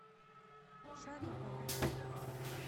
шарипова